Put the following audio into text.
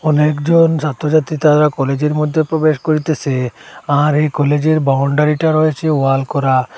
অনেকজন ছাত্রছাত্রী তারা কলেজের মধ্যে প্রবেশ করিতেসে আর এই কলেজের বাউন্ডারিটা রয়েছে ওয়াল করা।